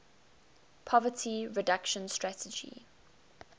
poverty reduction strategy